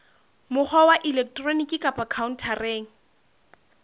mokgwa wa elektroniki kapa khaontareng